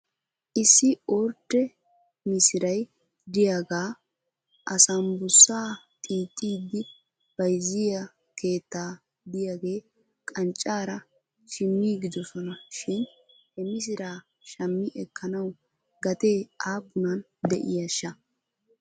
Issi ordde misiray de'iyaagaaa asambbussa xiixxidi bayzziyyaa keetta de'iyaagee qancaara shmiigidosona shin he misiraa shammi ekkanaw gatee aappunan de'iishsha ?